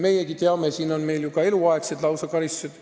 Meiegi teame seda, meil on ju ka lausa eluaegsed karistused.